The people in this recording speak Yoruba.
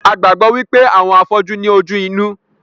A gbàgbọ́ wípé àwọn afọ́jú ní ojú inú